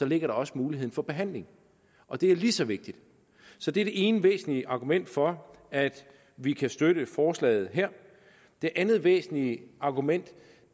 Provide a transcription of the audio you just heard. ligger også muligheden for behandling og det er lige så vigtigt så det er det ene væsentlige argument for at vi kan støtte forslaget her det andet væsentlige argument